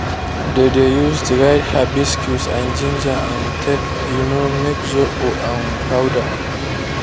dey dey use dried hibiscus and ginger um take um make zobo um powder.